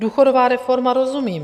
Důchodová reforma, rozumím.